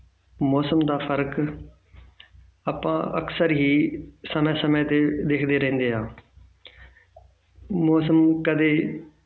ਮੌਸਮ ਦਾ ਫ਼ਰਕ ਆਪਾਂ ਅਕਸਰ ਹੀ ਸਮੇਂ ਸਮੇਂ ਤੇ ਦੇਖਦੇ ਰਹਿੰਦੇ ਹਾਂ ਮੌਸਮ ਕਦੇ